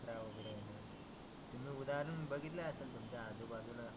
तुम्ही उदाहरण बघितले असेल तुमच्या आजु बाजुला